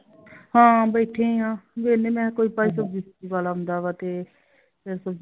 ਹਾਂ ਬੈਠੇ ਆਂ ਵੇਹਲੇ ਕੋਈ ਭਾਈ ਸਬਜ਼ੀ ਸੁਬਜੀ ਵਾਲਾ ਆਉਂਦਾ ਤੇ ਕੋਈ ਸਬਜ਼ੀ ਵੇਖ ਲੈਂਦੇ ਆਂ